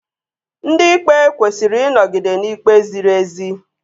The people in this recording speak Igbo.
Ndị Ikpe kwesịrị ịnọgide n'ikpe ziri ezi